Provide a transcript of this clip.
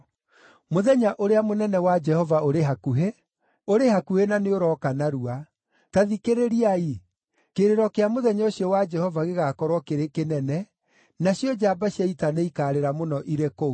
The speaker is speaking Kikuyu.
“Mũthenya ũrĩa mũnene wa Jehova ũrĩ hakuhĩ, ũrĩ hakuhĩ na nĩũrooka narua. Ta thikĩrĩriai! Kĩrĩro kĩa mũthenya ũcio wa Jehova gĩgaakorwo kĩrĩ kĩnene, nacio njamba cia ita nĩikaarĩra mũno irĩ kũu.